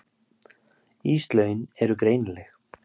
Íslögin eru greinileg.